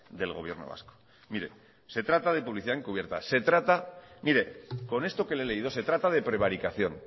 del gobierno vasco mire se trata de publicidad encubierta con esto que le he leído se trata de prevaricación